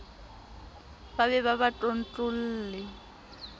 ba be ba ba tlontlolle